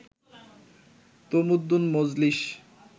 Tamaddun Majlis